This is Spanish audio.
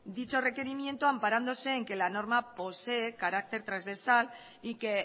dicho requerimiento amparándose en que la norma posee carácter transversal y que